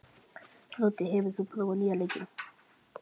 Broddi, hefur þú prófað nýja leikinn?